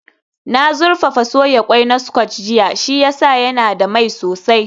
Na zurfafa soya ƙwai na scotch jiya, shi ya sa yana da mai sosai